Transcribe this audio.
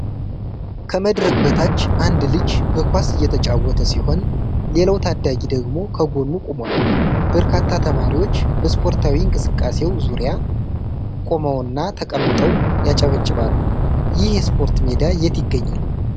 ከመድረክ በታች አንድ ልጅ በኳስ እየተጫወተ ሲሆን፣ ሌላው ታዳጊ ደግሞ ከጎኑ ቆሟል። በርካታ ተማሪዎች በስፖርታዊ እንቅስቃሴው ዙሪያ ቆመውና ተቀምጠው ያጨበጭባሉ። ይህ የስፖርት ሜዳ የት ይገኛል?